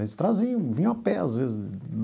Eles traziam, vinham a pé às vezes.